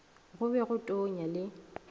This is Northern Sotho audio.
go be go tonya le